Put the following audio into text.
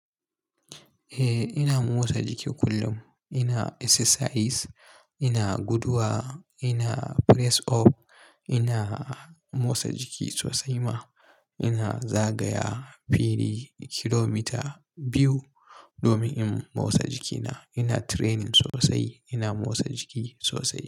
Eh ina motsa jiki kullum. Ina exercises, ina guduwa, ina press up, ina motsa jiki sosai ma. Ina zagaya fili kilomita biyu domin in motsa jikina. Ina training sosai. Ina motsa jiki sosai.